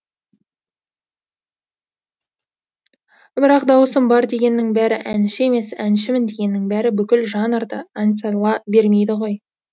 бірақ дауысым бар дегеннің бәрі әнші емес әншімін дегеннің бәрі бүкіл жанрда ән сала бермейді ғой